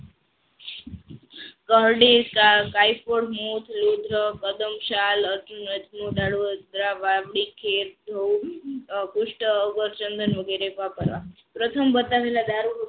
ચંદન વગેરે વાપરવા પ્રથમ